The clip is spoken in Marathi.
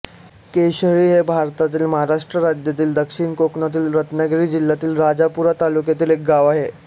कशेळी हे भारतातील महाराष्ट्र राज्यातील दक्षिण कोकणातील रत्नागिरी जिल्ह्यातील राजापूर तालुक्यातील एक गाव आहे